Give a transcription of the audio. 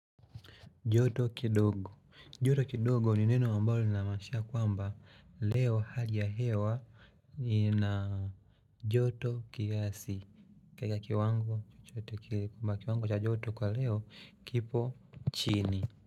Joto kidogo. Joto kidogo ni neno ambalo linamaanisha kwamba leo hali ya hewa ina joto kiasi. Kiwango chochote kile kwamba kiwango cha joto kwa leo kipo chini.